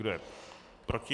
Kdo je proti?